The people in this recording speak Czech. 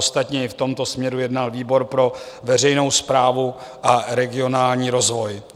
Ostatně i v tomto směru jednal výbor pro veřejnou správu a regionální rozvoj.